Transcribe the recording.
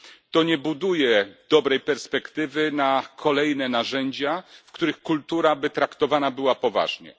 To nie buduje dobrej perspektywy na kolejne narzędzia, w których kultura byłaby traktowana poważnie.